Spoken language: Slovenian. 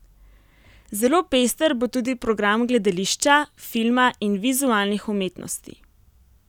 Zelo pester bo tudi program gledališča, filma in vizualnih umetnosti.